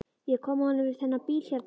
Ég kom að honum við þennan bíl hérna.